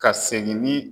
Ka segin ni